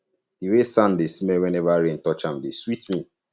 the way sand dey smell whenever rain touch am dey sweet me